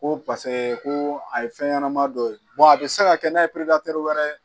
Ko ko a ye fɛn ɲɛnama dɔw ye a bɛ se ka kɛ n'a ye wɛrɛ